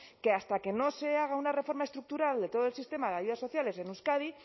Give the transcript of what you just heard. que hasta que no se haga una reforma estructural de todo el sistema de ayudas sociales en euskadi